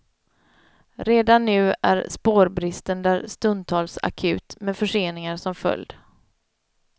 Redan nu är spårbristen där stundtals akut, med förseningar som följd.